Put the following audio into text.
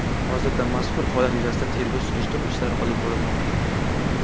Hozirda mazkur holat yuzasidan tergov-surishtiruv ishlari olib borilmoqda.